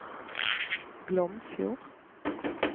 Glomfjord